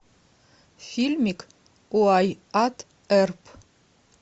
фильмик уайатт эрп